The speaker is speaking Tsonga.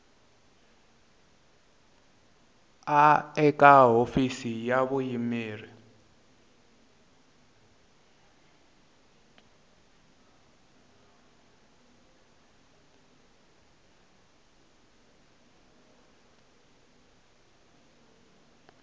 a eka hofisi ya vuyimeri